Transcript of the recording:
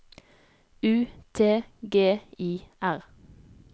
U T G I R